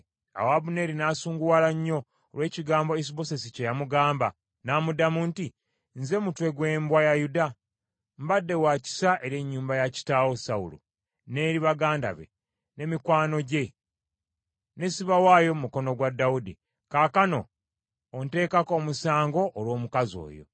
Awo Abuneeri n’asunguwala nnyo olw’ekigambo Isubosesi kye yamugamba, n’amuddamu nti, “Nze mutwe gw’embwa ya Yuda? Mbadde wa kisa eri ennyumba ya kitaawo Sawulo, n’eri baganda be, ne mikwano gye, ne sibawaayo mu mukono gwa Dawudi. Kaakano onteekako omusango olw’omukazi oyo.